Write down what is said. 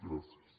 gràcies